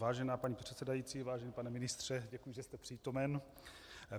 Vážená paní předsedající, vážený pane ministře, děkuji, že jste přítomen.